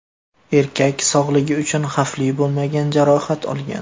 Erkak sog‘lig‘i uchun xavfli bo‘lmagan jarohat olgan.